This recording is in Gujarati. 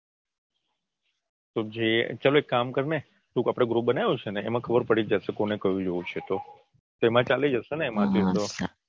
તો જે ચાલો એક કામ કરને આપણે એક group બનાવ્યું છે ને તો એમાં ખબર પડી જ જશે કોને કયું જોવું છે તો એમાં ચાલી જશેને એમાં થી તો.